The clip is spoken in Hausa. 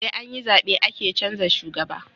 Sai anyi zabe ake canza shugaba